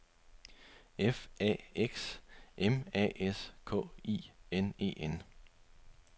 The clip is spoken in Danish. F A X M A S K I N E N